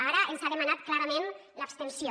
ara ens ha demanat clarament l’abstenció